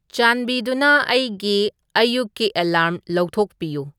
ꯆꯥꯟꯕꯤꯗꯨꯅ ꯑꯩꯒꯤ ꯑꯌꯨꯛꯀꯤ ꯑꯦꯂꯥꯔ꯭ꯝ ꯂꯧꯊꯣꯛꯄꯤꯌꯨ